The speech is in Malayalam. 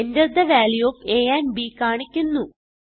Enter the value of a and b കാണിക്കുന്നു